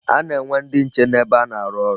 A na-enwe ndị nche n'ebe a na-aru oru..